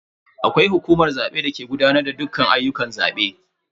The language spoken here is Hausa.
Akwai hukumar zabe dake gudanar da dukkan ayyukan zabe.